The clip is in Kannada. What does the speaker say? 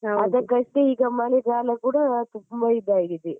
ಅದಕ್ಕಷ್ಟೇ ಈಗ ಮಳೆಗಾಲ ಕೂಡ ತುಂಬಾ ಇದಾಗಿದೆ.